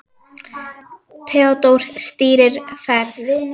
Theódór stýrir ferð.